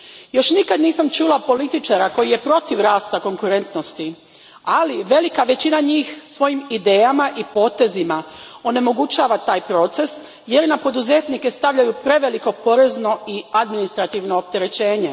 Još nikad nisam čula političara koji je protiv rasta konkurentnosti, ali velika većina njih svojim idejama i potezima onemogućava taj proces, jer na poduzetnike stavljaju preveliko porezno i administrativno opterećenje.